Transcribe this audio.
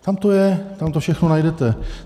Tam to je, tam to všechno najdete.